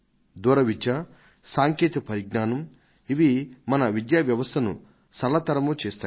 దూర విద్య సాంకేతిక పరిజ్ఞానం ఇవి మన విద్యావ్యవస్థను సరళతరమూ చేస్తాయి